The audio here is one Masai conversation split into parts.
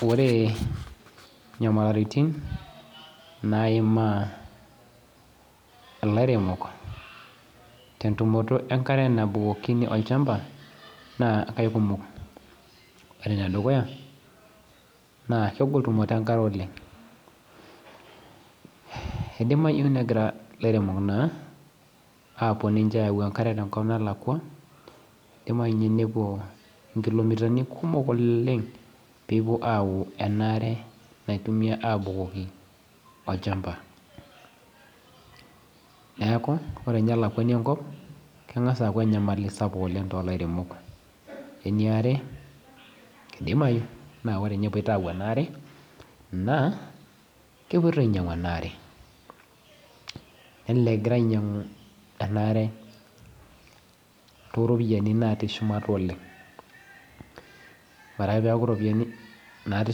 Ore nyamalaritin, naimaa ilairemok tentumoto enkare nabukokini olchamba, naa aikumok. Ore enedukuya, naa kegol tumoto enkare oleng'. Eidimayu negira ilairemok naa apuo ninche ayau enkare tenkop nalakwa, idimayu nye nepuo inkilomitani kumok oleeng pepuo au enaare naitumia abukoki olchamba. Neeku, ore nye elakwani enkop, keng'asa aku enyamali sapuk oleng tolairemok. Eniare, kidimayu na ore nye epoito au enaare, naa, kepoito ainyang'u enaare. Nelelek egira ainyang'u enaare toropiyiani natii shumata oleng. Ore ake peku ropiyiani natii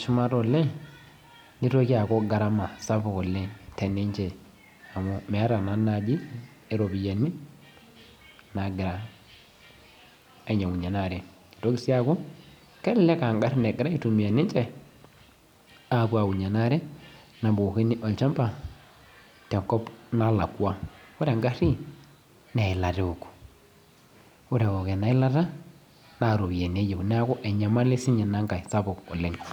shumata oleng, nitoki aku gharama sapuk oleng teninche amu meeta naa naji iropiyiani, nagira ainyang'unye enaare. Nitoki si aku, kelelek ah garrin egira aitumia ninche, apuo aunye enaare nabukokini olchamba, tenkop nalakwa. Ore egarri, neilata eok. Ore eok enailata, na ropiyiani eyieu. Neeku enyamali sinye inankae sapuk oleng.